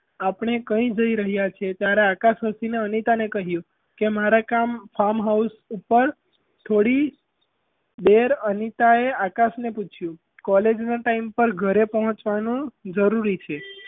આપણે કઈ જઈ રહ્યાં છે ત્યારે આકાશ હસીને અનિતાને કહ્યું કે મારા ગામ farm house ઉપર થોડી દેર અનિતા એ આકાશને પૂછ્યું college નાં time પર ઘરે પહોચવાનું જરૂરી છે.